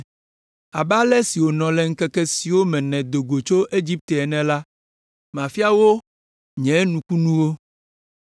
“Abe ale si wònɔ le ŋkeke siwo me nèdo go tso Egipte ene la, mafia wo nye nukunuwo.”